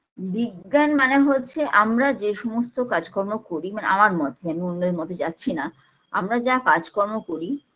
বিজ্ঞান মানে হচ্ছে আমরা যে সমস্ত কাজকর্ম করি মানে আমার মতে আমি অন্যের মতে যাচ্ছিনা আমরা যা কাজকর্ম করি